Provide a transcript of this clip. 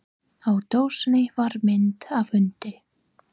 Á dósinni var mynd af hundi.